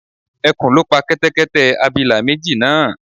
Ẹkùn ló pa Kẹ́tẹ́kẹ́tẹ́ abilà méjì náà